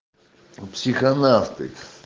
психонафты